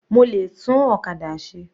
Mo lè tún ọ̀kadà ṣe.